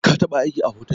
Ka taba aiki a hotel?